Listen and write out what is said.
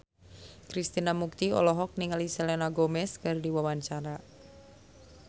Krishna Mukti olohok ningali Selena Gomez keur diwawancara